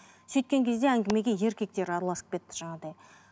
сөйткен кезде әңгімеге еркектер араласып кетті жаңағыдай